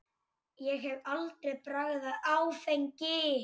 Ég hef aldrei bragðað áfengi.